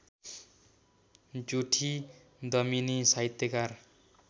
जुठी दमिनी साहित्यकार